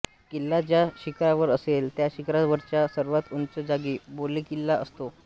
किल्ला ज्या शिखरावर असेल त्या शिखरावरच्या सर्वात उंच जागी बालेकिल्ला असतो